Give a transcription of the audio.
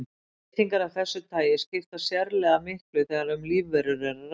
Breytingar af þessu tagi skipta sérlega miklu þegar um lífverur er að ræða.